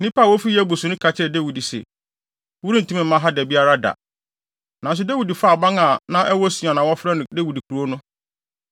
Nnipa a wofi Yebus no ka kyerɛɛ Dawid se, “Worentumi mma ha da biara da.” Nanso Dawid faa aban a na ɛwɔ Sion a wɔfrɛ no Dawid Kurow no.